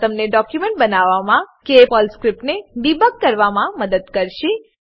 આ તમને ડોક્યુંમેંટ બનાવવામાં કે પર્લ સ્ક્રીપ્ટને ડીબગ કરવામાં મદદ કરશે